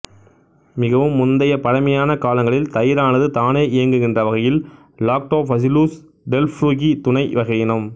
மிகவும் முந்தைய பழமையான காலங்களில் தயிரானது தானே இயங்குகின்ற வகையில் லாக்டோபசில்லுஸ் டெல்ப்ரூகி துணை வகையினம்